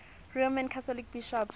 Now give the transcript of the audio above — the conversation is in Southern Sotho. roman catholic bishops